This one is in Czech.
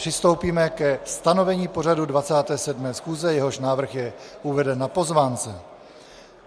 Přistoupíme ke stanovení pořadu 27. schůze, jehož návrh je uveden na pozvánce.